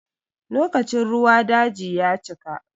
Lokacin ruwa daji ya cika.